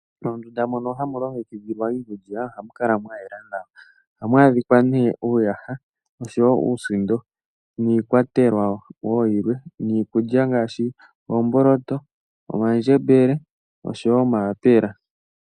Moondunda mono hamu longekidhilwa iikulya ohamu kala mwa yela nawa. Ohamu adhika nee uuyaha osho wo uusindo niikwatelwa woo yilwe niikulya ngaashi oomboloto, omandjembele osho wo omayapela.